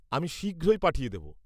-আমি শীঘ্রই পাঠিয়ে দেব।